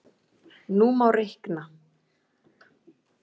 Nú má reikna